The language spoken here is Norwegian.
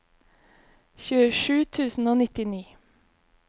tjuesju tusen og nittini